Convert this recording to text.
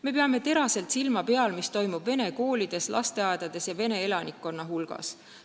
Me peame teraselt silma peal, mis toimub vene koolides, lasteaedades ja vene elanikkonna hulgas.